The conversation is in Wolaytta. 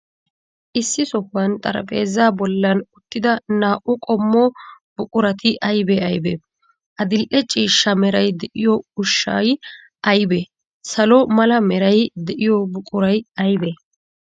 Issi sohuwan xaraphpheezzaa bollan uttida naa''u qommo buqurati aybee aybee? Adil''e ciishsha meray de'iyoo ushshay aybee? Salo mala meray de'iyoo buquray aybee?